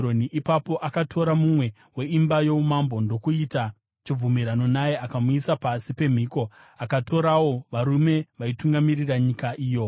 Ipapo akatora mumwe weimba youmambo ndokuita chibvumirano naye, akamuisa pasi pemhiko. Akatorawo varume vaitungamirira nyika iyo,